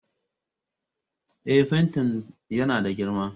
Eh, fentin yana da girma